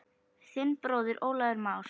Þinn bróðir Ólafur Már.